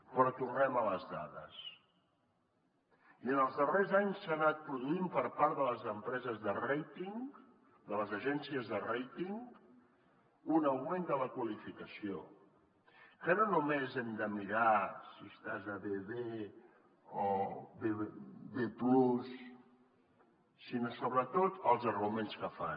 però tornem a les dades i en els darrers anys s’ha anat produint per part de les empreses de rating de les agències de més hem de mirar si estàs a bbb o b+ sinó sobretot els arguments que fan